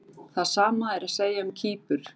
Það sama er að segja um Kýpur.